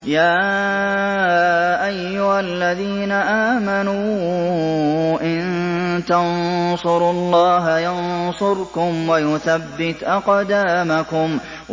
يَا أَيُّهَا الَّذِينَ آمَنُوا إِن تَنصُرُوا اللَّهَ يَنصُرْكُمْ وَيُثَبِّتْ أَقْدَامَكُمْ